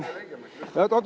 Oot-oot.